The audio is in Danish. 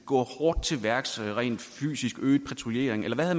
gå hårdt til værks rent fysisk øge patruljeringen eller hvad